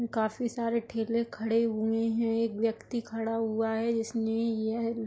काफी सारे ठेले खड़े हुए हैं। एक व्यक्ति खड़ा हुआ है जिसने यह --